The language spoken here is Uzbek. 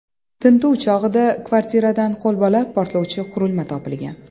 Tintuv chog‘ida kvartiradan qo‘lbola portlovchi qurilma topilgan.